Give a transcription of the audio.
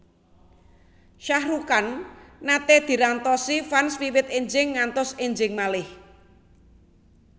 Shah Rukh Khan nate dirantosi fans wiwit enjing ngantos enjing malih